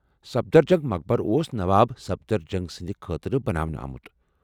سفدرجنگ مقبرٕ اوس نواب سفدرجنگ سٕنٛد خٲطرٕ بناونہٕ آمت۔